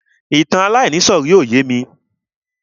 Ìtàn aláìníìsọ̀rí ò yémi.